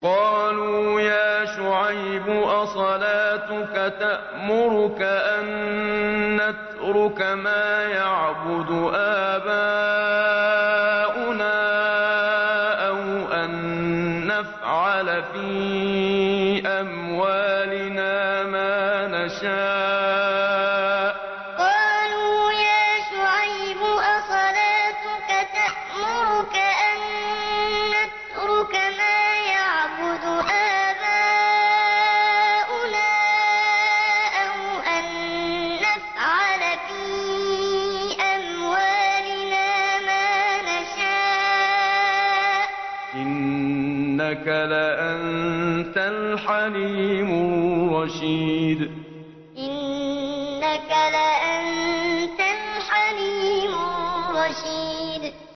قَالُوا يَا شُعَيْبُ أَصَلَاتُكَ تَأْمُرُكَ أَن نَّتْرُكَ مَا يَعْبُدُ آبَاؤُنَا أَوْ أَن نَّفْعَلَ فِي أَمْوَالِنَا مَا نَشَاءُ ۖ إِنَّكَ لَأَنتَ الْحَلِيمُ الرَّشِيدُ قَالُوا يَا شُعَيْبُ أَصَلَاتُكَ تَأْمُرُكَ أَن نَّتْرُكَ مَا يَعْبُدُ آبَاؤُنَا أَوْ أَن نَّفْعَلَ فِي أَمْوَالِنَا مَا نَشَاءُ ۖ إِنَّكَ لَأَنتَ الْحَلِيمُ الرَّشِيدُ